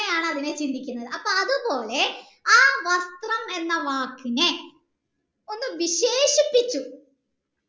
അങ്ങനെയാണ് അതിനെ ചിന്തിക്കുന്നത് അത്പോലെ ആയ വസ്ത്രം എന്ന വാക്കിനെ ഒന്ന് വിശേഷിപ്പിച്ചു